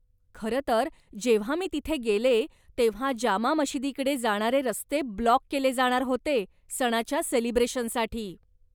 खरंतर, जेव्हा मी तिथे गेले, तेव्हा जामा मशिदीकडे जाणारे रस्ते ब्लॉक केले जाणार होते, सणाच्या सेलिब्रेशनसाठी.